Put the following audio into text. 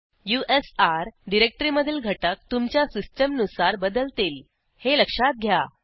usr डिरेक्टरीमधील घटक तुमच्या सिस्टीमनुसार बदलतील हे लक्षात घ्या